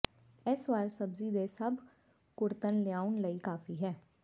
ਇਸ ਵਾਰ ਸਬਜ਼ੀ ਦੇ ਸਭ ਕੁੜੱਤਣ ਲਿਆਉਣ ਲਈ ਕਾਫ਼ੀ ਹੈ